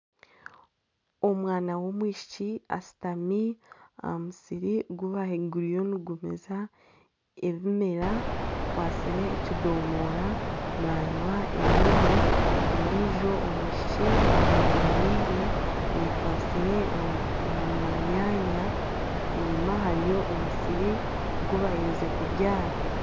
Omwana w'omwishiki ashutami aha musiri oguriyo nigumeza ebimera akwatsire ekidomora nanywa ebirimu ondijo omwishiki amwemererire ayekwatsire omu manyanya enyuma hariyo omusiri ogubaherize kubyara.